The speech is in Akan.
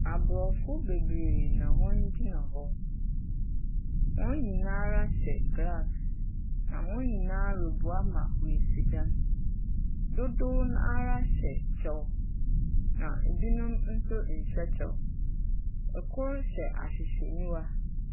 Abrɔfo bebree na wɔn gyina hɔ. Wɔn nyinaa hyɛ glass. Na wɔn nyinaa reboa ma wɔasi dan. Dodow no ra hyɛ kyɛw. Na binom nhyɛ kyɛw. Kor hyɛ ahwehwɛnyiwa.